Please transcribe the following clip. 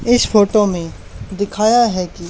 इस फोटो में दिखाया है कि--